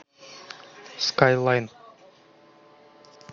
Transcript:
скайлайн